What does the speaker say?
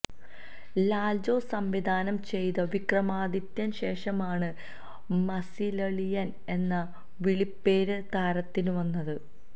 ലാല്ജോസ് സംവിധാനം ചെയ്ത വിക്രമാദിത്യന് ശേഷമാണ് മസിലളിയന് എന്ന വിളിപ്പേര് താരത്തിന് വന്നത്